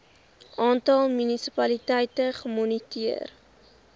aantal munisipaliteite gemoniteer